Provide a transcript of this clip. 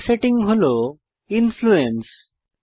পরের সেটিং হল ইনফ্লুয়েন্স